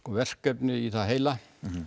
verkefni í það heila